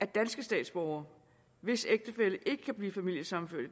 danske statsborgere hvis ægtefælle ikke kan blive familiesammenført i